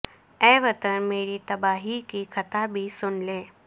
اے وطن میری تباہی کی کتھا بھی سن لے